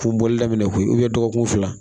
Kun bɔli daminɛ koyi dɔgɔkun fila